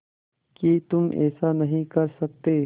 कि तुम ऐसा नहीं कर सकते